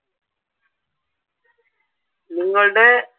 നിങ്ങളുടെ